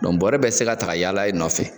bɔrɛ bɛɛ te se ka ta ka yala i nɔfɛ.